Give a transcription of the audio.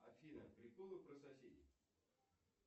афина приколы про соседей